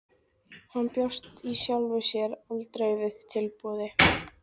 Hann bjóst í sjálfu sér aldrei við tilboði.